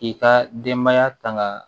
K'i ka denbaya tanga